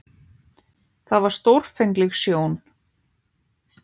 Það var stórfengleg sjón.